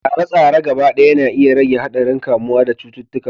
Tsare-tsare gaba ɗaya na iya rage haɗarin kamuwa da cututtuka